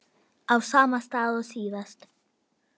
Á sama stað og síðast.